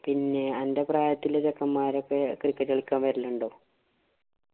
പിന്നെ അന്‍റെ പ്രായത്തിലുള്ള ചെക്കന്മാരോക്കെ cricket കളിക്കാന്‍ വരലുണ്ടോ?